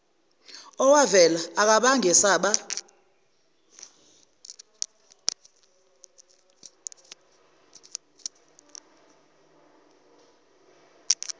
owavela akangabe esaba